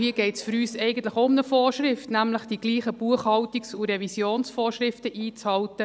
Hier geht es für uns eigentlich auch um eine Vorschrift, nämlich die gleichen Buchhaltungs- und Revisionsvorschriften einzuhalten.